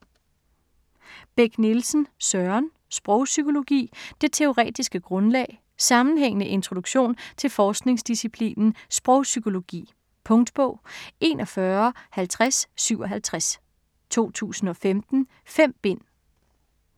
Beck Nielsen, Søren: Sprogpsykologi: det teoretiske grundlag Sammenhængende introduktion til forskningsdisciplinen sprogpsykologi. Punktbog 415057 2015. 5 bind.